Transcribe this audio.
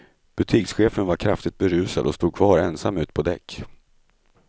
Butikschefen var kraftigt berusad och stod kvar ensam ute på däck.